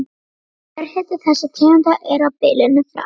Kjörhiti þessara tegunda er á bilinu frá